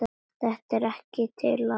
Þetta er ekkert til að.